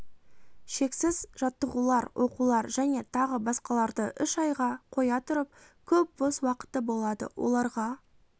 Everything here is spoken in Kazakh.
шексіз жаттығулар оқулар және тағы басқаларды үш айға қоя тұрып көп бос уақыты болады оларға